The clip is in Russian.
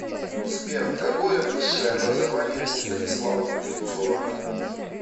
сбер какое высшее образование у станислава кузнецова